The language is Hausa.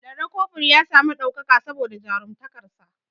Lanre kofur ya sami ɗaukaka saboda jarumtakar sa